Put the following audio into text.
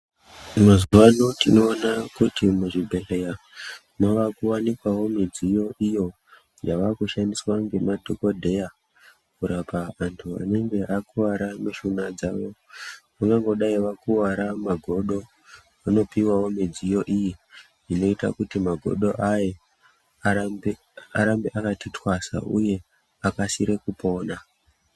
Mazuwa ano tinoona kuti muzvibhedhleya mwakuwanikwawo midziyo iyo yaakushandiswa ngemadhokodheya kurapa antu anenge akuwara mushuna dzawo vangangodai vakuwara mumahofo vanopuwa mudziyo inoita kuti magodo aya arambe arambe akati twasa uye akasire kupona.